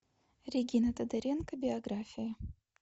регина тодоренко биография